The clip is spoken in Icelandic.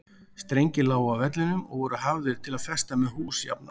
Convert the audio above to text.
Strengir lágu á vellinum og voru hafðir til að festa með hús jafnan.